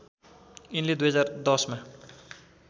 यिनले २०१० मा